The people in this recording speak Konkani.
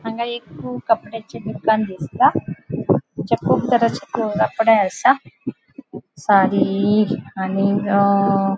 हांगा एक कपड्याचे दुकान दिसता कुब तरेचे कपड़े आसा साडी आणि ग अ --